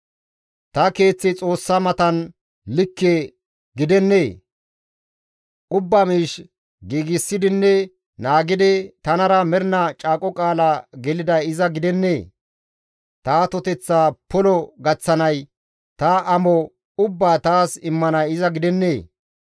«Ta keeththi Xoossa matan likke gidennee? Ubba miish giigsidinne naagidi, tanara mernaa caaqo qaala geliday iza gidennee? Ta atoteththa polo gaththanay ta amo ubbaa taas immanay iza gidennee?